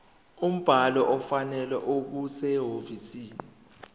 umbhalo ofanele okusehhovisi